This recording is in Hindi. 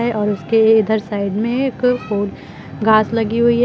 है और उसके इधर साइड में एक ओर घास लगी हुई है।